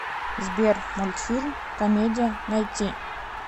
сбер мультфильм комедия найти